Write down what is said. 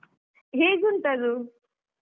ಹೇಗುಂಟದು?